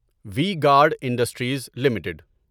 we guard industries limited